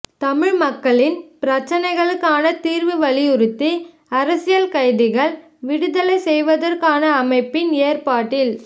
தமிழ் மக்களின் பிரச்சினைகளுக்கான தீர்வை வலியுறுத்தி அரசியல் கைதிகள் விடுதலை செய்வதற்கான அமைப்பின் ஏற்பாட்டில்